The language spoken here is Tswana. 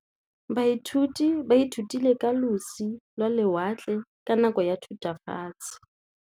Baithuti ba ithutile ka losi lwa lewatle ka nako ya Thutafatshe.